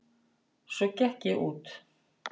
Svo gekk ég út.